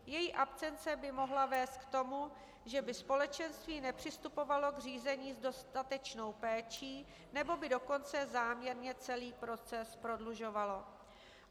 Její absence by mohla vést k tomu, že by společenství nepřistupovalo k řízení s dostatečnou péčí nebo by dokonce záměrně celý proces prodlužovalo.